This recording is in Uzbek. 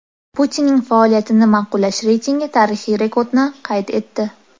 Putinning faoliyatini ma’qullash reytingi tarixiy rekordni qayd etdi.